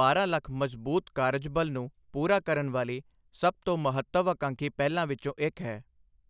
ਬਾਰਾਂ ਲੱਖ ਮਜ਼ਬੂਤ ਕਾਰਜਬਲ ਨੂੰ ਪੂਰਾ ਕਰਨ ਵਾਲੀ ਸਭ ਤੋਂ ਮਹੱਤਵਆਕਾਂਖੀ ਪਹਿਲਾਂ ਵਿੱਚੋਂ ਇੱਕ ਹੈ।